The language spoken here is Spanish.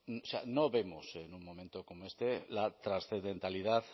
o sea no vemos en un momento como este la trascendentalidad